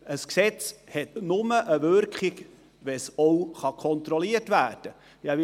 Ein Gesetz hat nur eine Wirkung, wenn es auch kontrolliert werden kann.